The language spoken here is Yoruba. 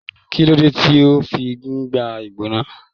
Kilode ti o fi n gbóná?